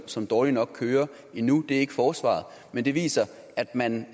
som dårligt nok kører endnu det er så ikke forsvaret men det viser at man